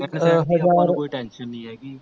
ਇੱਕ ਚੀਜ਼ ਦੀ ਆਪਾਂ ਨੂੰ ਕੋਈ tension ਨਹੀ ਹੈਗੀ